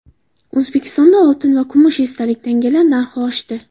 O‘zbekistonda oltin va kumush esdalik tangalar narxi oshdi.